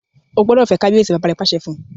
O gbódò fè kabiyesi! bàbá rẹ pàṣẹ fún.